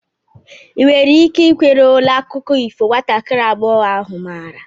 ị nwere ike ikwere ole akụkọ ifo nwatakiri agbọghọ ahụ maara?